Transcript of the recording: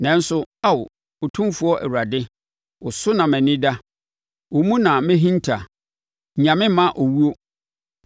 Nanso, Ao Otumfoɔ Awurade, wo so na mʼani da; wo mu na mehinta. Nnya me mma owuo.